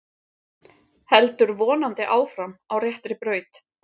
Heldur vonandi áfram á réttri braut